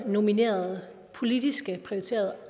nominerede politisk prioriterede